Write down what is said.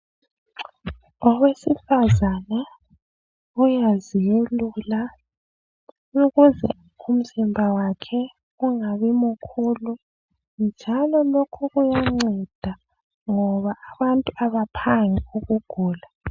Owesifazana uyazelula ukuze umuzimba wakhe ungabi mkhulu njalo lokhu kuyanceda ngoba abantu abaphangi ukugula.